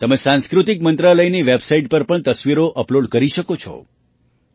તમે સાંસ્કૃતિક મંત્રાલયની વેબસાઇટ પર પણ તસવીરો અપલૉડ કરી શકો છો